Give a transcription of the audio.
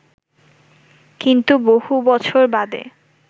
কিন্তু বহু বছর বাদে